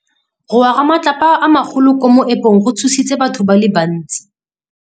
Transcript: Go wa ga matlapa a magolo ko moepong go tshositse batho ba le bantsi.